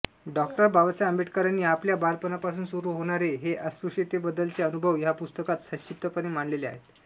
डॉ बाबासाहेब आंबेडकरांनी आपल्या बालपणापासून सुरू होणारे हे अस्पृश्यतेबद्दलचे अनुभव ह्या पुस्तकात संक्षिप्तपणे मांडलेले आहेत